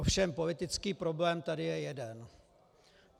Ovšem politický problém tady je jeden.